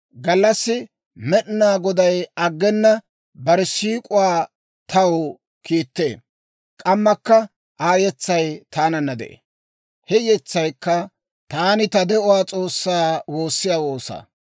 Gallassi Med'inaa Goday aggena bare siik'uwaa taw kiittee. K'ammakka Aa yetsay taananna de'ee; he yetsaykka taani ta de'uwaa S'oossaa woossiyaa woosaa.